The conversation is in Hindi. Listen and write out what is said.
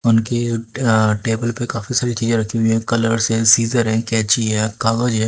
उनके अं टेबल पर काफी सारी चीजें रखी हुई हैं कलर्स हैं सीज़र्स हैं कैंची है कागज है।